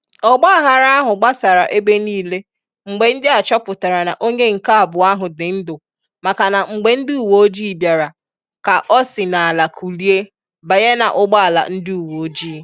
ọgbaaghara ahu gbasara ebe niile mgbe ndị a chọpụtara na onye nke abụọ ahụ dị ndụ maka na mgbe ndị uweojii bịara ka ọ si n'ala kulie banye n'ụgbọala ndị uweojii